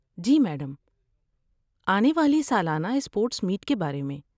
جی madam, آنے والی سالانہ اسپورٹس میٹ کے بارے میں۔